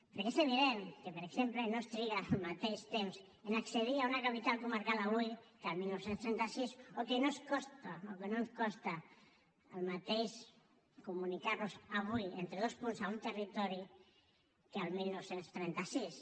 perquè és evident que per exemple no es triga el mateix temps a accedir a una capital comarcal avui que el dinou trenta sis o que no ens costa el mateix comunicar nos avui entre dos punts a un territori que el dinou trenta sis